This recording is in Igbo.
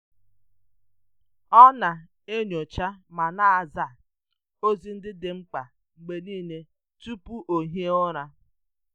Ọ na-enyocha ma na-aza ozi ndị dị mkpa mgbe niile tupu ọ hie ụra.